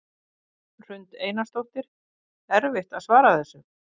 Ingunn Hrund Einarsdóttir: Erfitt að svara þessu?